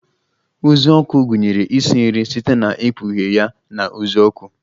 uzuọkụ gụnyere ịsị nri site na ikpughe ya na uzuoku